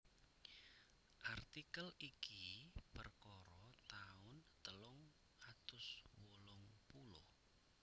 Artikel iki perkara taun telung atus wolung puluh